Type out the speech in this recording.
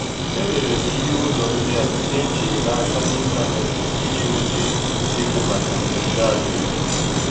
E rere m ihe ụlọ ndị a na-ejighị n'aka n'ịntanetị iji nweta ego maka ihe mberede ahụike.